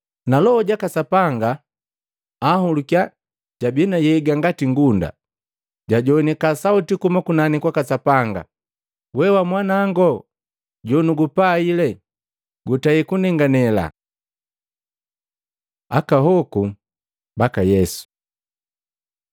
na Loho jaka Sapanga anhulukiya jabi na nhyega ngati ngunda. Jajowanika sauti kuhuma kunani kwaka Sapanga, “We wamwanango jonugupaile, gutei kunenganela.” Aka hoku baka Yesu Matei 1:1-17